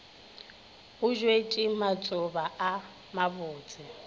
go bjetšwe matšoba a mabotse